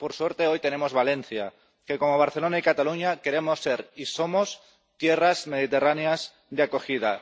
Por suerte, hoy tenemos Valencia que, como Barcelona y Cataluña, queremos ser y somos tierras mediterráneas de acogida.